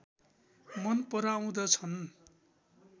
मन पराउँदछन्